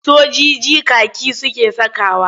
Sojiji kaki suke sakawa.